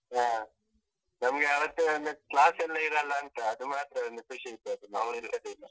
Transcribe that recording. ಹಾ, ನಮ್ಗೆ ಅವತ್ತೊಂದು class ಎಲ್ಲಾ ಇರಲ್ಲ ಅಂತ, ಅದು ಮಾತ್ರ ಒಂದು ಖುಷಿ ಇದದ್ದು ಮತ್ತೆ ಎಂತದೂ ಇಲ್ಲ.